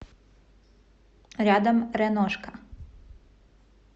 рядом реношка